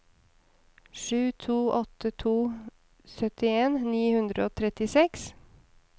sju to åtte to syttien ni hundre og trettiseks